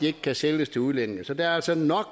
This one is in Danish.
ikke kan sælges til udlændinge så der er altså nok